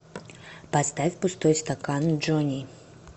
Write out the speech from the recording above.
поставь пустой стакан джони